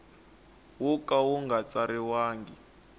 wo ka wu nga tsariwangi